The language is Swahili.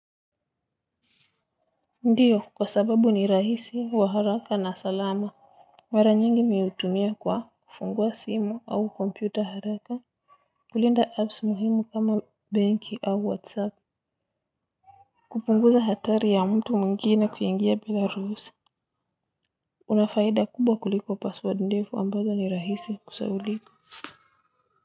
Ndiyo, kwa sababu ni rahisi wa haraka na salama mara nyingi mimi hutumia kwa kufungua simu au kompyuta haraka. Kulinda apps muhimu kama banki au whatsapp. Kupunguza hatari ya mtu mwingine kuingia bila ruhusa. Unafaida kubwa kuliko password ndefu ambazo ni rahisi kusahaulika.